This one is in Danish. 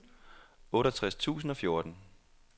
otteogtres tusind og fjorten